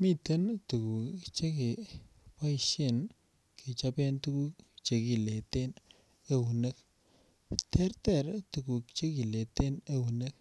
Miten tuguk che keboishen kechoben tuguk che kileten eunek terter tuguk che kileten eunek